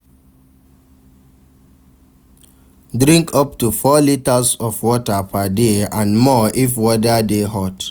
Drink up to 4 liters of water per day and more if weather de hot